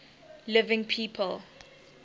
living people